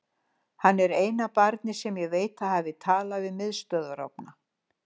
Hann er eina barnið sem ég veit að hafi talað við miðstöðvarofna.